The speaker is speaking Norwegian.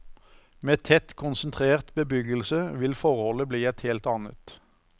Med tett konsentrert bebyggelse vil forholdet bli et helt annet.